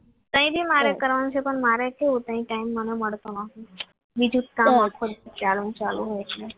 અહીંથી મારે કરવાનું છે પણ મારે કેવું ત્યાં ટાઈમ મને મળતો નથી બીજો કામ આખો દિવસ ચાલુ હોય છે